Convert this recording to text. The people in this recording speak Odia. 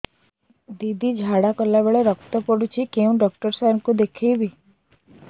ଦିଦି ଝାଡ଼ା କଲା ବେଳେ ରକ୍ତ ପଡୁଛି କଉଁ ଡକ୍ଟର ସାର କୁ ଦଖାଇବି